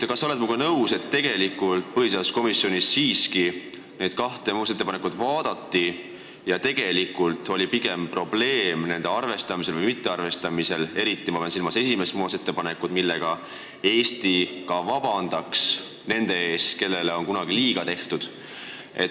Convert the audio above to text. Kas sa oled minuga nõus, et põhiseaduskomisjonis neid kahte muudatusettepanekut siiski vaadati ja tegelik probleem seisnes pigem nende arvestamises või mittearvestamises, pean silmas eriti esimest muudatusettepanekut, millega Eesti vabandaks nende ees, kellele on kunagi liiga tehtud?